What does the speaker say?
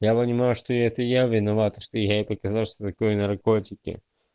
я понимаю что это я виноват что я ей показал что такое наркотики